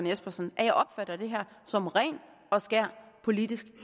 espersen at jeg opfatter det her som ren og skær politisk